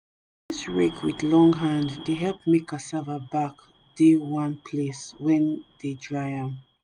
this rake with long hand dey help make cassava back dey one place wen dey dry am